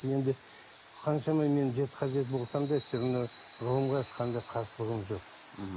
енді қаншама мен жеті хазірет болсам да всеравно ғылымға ешқандай қарсылығым жоқ мхм